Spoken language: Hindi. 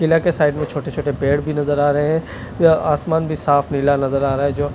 नीला के साइड में छोटे-छोटे पेड़ भी नजर आ रहे हैं आसमान भी साफ लीला नजर आ रहा है जो--